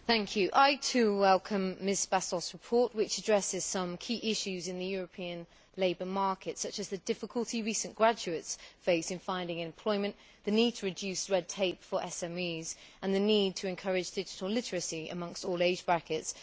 Madam President, I too welcome Ms Bastos's report, which addresses some key issues in the European labour market, such as the difficulty recent graduates face in finding employment, the need to reduce red tape for SMEs and the need to encourage digital literacy amongst all age brackets.